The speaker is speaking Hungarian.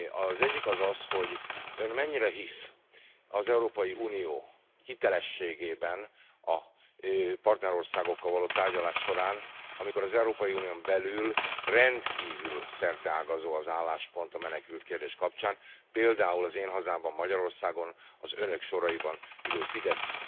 Az egyik az az, hogy ön mennyire hisz az Európai Unió hitelességében a partnerországokkal való tárgyalás során, amikor az Európai Unión belül rendkívül szerteágazó az álláspont a menekültkérdés kapcsán? Például az én hazámban, Magyarországon az önök soraiban ülő Fidesz